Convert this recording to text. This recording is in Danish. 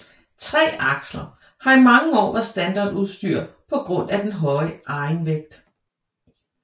Tre aksler har i mange år været standardudstyr på grund af den høje egenvægt